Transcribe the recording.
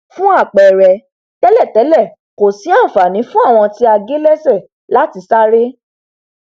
fún àpẹrẹ tẹlẹtẹlẹ kò sí ànfàní fún ẹní tí a gé lẹsẹ láti sáré